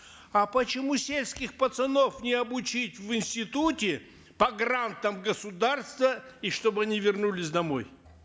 а почему сельских пацанов не обучить в институте по грантам государства и чтобы они вернулись домой